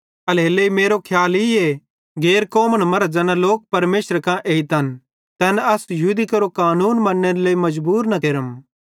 एल्हेरेलेइ मेरो खियाल ईए गैर कौमन मरां ज़ैना लोक परमेशरे कां एइतन तैन अस यहूदी केरो कानून मन्नेरे लेइ मजबूर न केरम